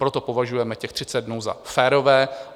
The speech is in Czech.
Proto považujeme těch 30 dnů za férové.